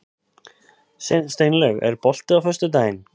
Steinlaug, er bolti á föstudaginn?